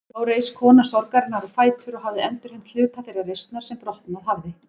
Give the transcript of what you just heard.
Þá reis kona sorgarinnar á fætur og hafði endurheimt hluta þeirrar reisnar sem brotnað hafði.